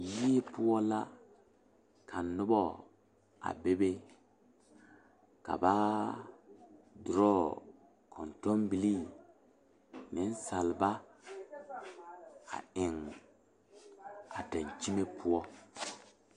Yirioɔ la ka noba a bebe ka ba doɔrɔɔ kɔŋtɔŋbilee niŋsaaba a eŋ a daŋkyime poɔ.